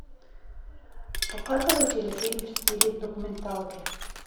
показывай телефильм в стиле документалки